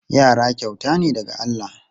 Yara kyauta ne daga Allah.